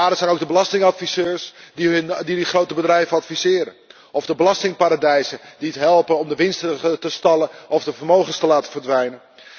De daders zijn ook de belastingadviseurs die de grote bedrijven adviseren of de belastingparadijzen die helpen om de winst te stallen of de vermogens te laten verdwijnen.